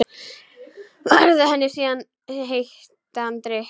Færði henni síðan heitan drykk.